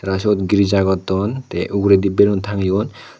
te seyot girija goton te ugurendi balloon tangeyon.